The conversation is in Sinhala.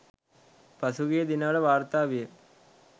පසුගිය දිනවල වාර්තා විය